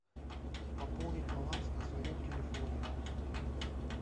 пополнить баланс на своем телефоне